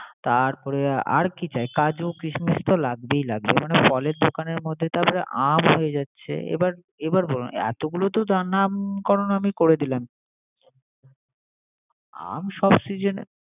তারপরে আর কি চাই। কাজু কিসমিস তো লাগবেই লাগবে। মানে ফলের মধ্যে তো আম আমটাতো সব সিজনে পাচ্ছি না, শোন শোন আমার কথাটা শোন